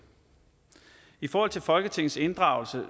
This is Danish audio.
i forhold til folketingets inddragelse